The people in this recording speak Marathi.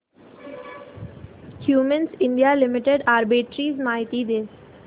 क्युमिंस इंडिया लिमिटेड आर्बिट्रेज माहिती दे